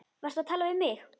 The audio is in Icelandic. Varstu að tala við mig?